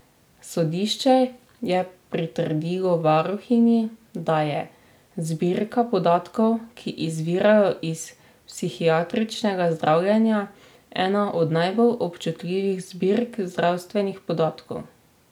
Sodišče je pritrdilo varuhinji, da je: 'Zbirka podatkov, ki izvirajo iz psihiatričnega zdravljenja, ena od najbolj občutljivih zbirk zdravstvenih podatkov.